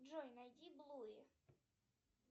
джой найди блуи